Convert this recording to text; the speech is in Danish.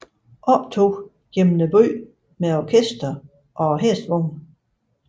Optog gennem byen med orkester og hestevogne